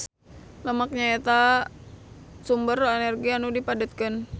Lemak nyaeta sumber energi anu dipadetkeun.